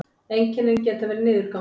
einkennin geta verið niðurgangur